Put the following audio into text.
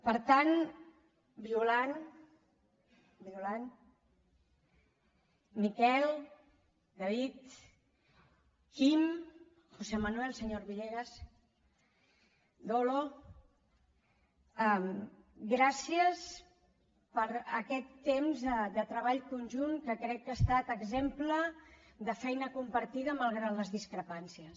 per tant violant violant miquel david quim josé manuel senyor villegas dolo gràcies per aquest temps de treball conjunt que crec que ha estat exemple de feina compartida malgrat les discrepàncies